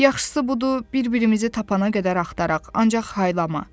Yaxşısı budur bir-birimizi tapana qədər axtaraq, ancaq haylama.